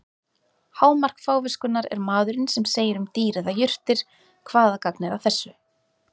Hámark fáviskunnar er maðurinn sem segir um dýr eða jurtir: Hvaða gagn er að þessu?